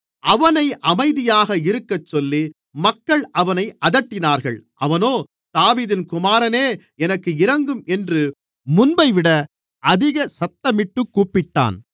அவனை அமைதியாக இருக்கச்சொல்லி மக்கள் அவனை அதட்டினார்கள் அவனோ தாவீதின் குமாரனே எனக்கு இரங்கும் என்று முன்பைவிட அதிகமாக சத்தமிட்டு கூப்பிட்டான்